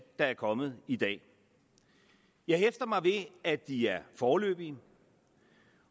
der er kommet i dag jeg hæfter mig ved at de er foreløbige